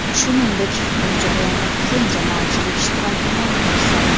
Shuningdek, bu jarayonda keng jamoatchilik ishtirokini ta’minlash zarur.